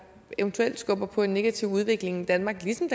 eventuelt skubber på en negativ udvikling i danmark ligesom